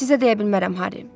Sizə deyə bilmərəm Harry.